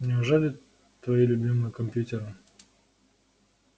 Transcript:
неужели твои любимые компьютеры